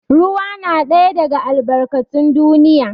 Ruwa na ɗaya daga albarkatun duniya.